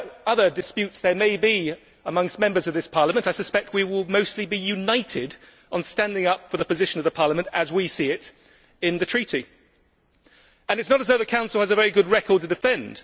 Whatever other disputes there may be amongst Members of this Parliament, I suspect we will mostly be united on standing up for the position of Parliament as we see it in the Treaty. It is not as though the Council has a very good record to defend.